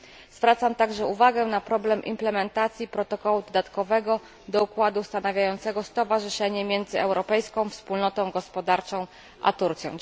Zwracam także uwagę na problem implementacji protokołu dodatkowego do protokołu ustanawiającego stowarzyszenie między Europejską Wspólnotą Gospodarczą a Turcją.